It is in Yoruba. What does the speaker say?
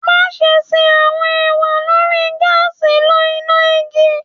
Maṣe ṣe awọn ewa lori gaasi lo ina igi